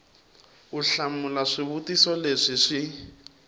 u hlamula swivutiso leswi swi